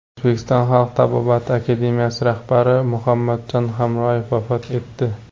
O‘zbekiston xalq tabobati akademiyasi rahbari Muhammadjon Hamroyev vafot etdi.